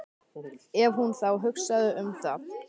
Ef hún þá hugsaði um það.